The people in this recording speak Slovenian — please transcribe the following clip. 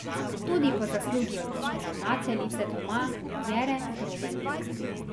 Tudi po zaslugi odlične ravnateljice doma, Jere Grobelnik.